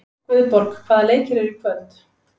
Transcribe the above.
Guðborg, hvaða leikir eru í kvöld?